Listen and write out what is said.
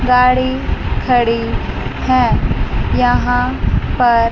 गाड़ी खड़ी है यहां पर--